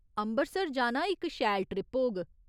अम्बरसर जाना इक शैल ट्रिप होग।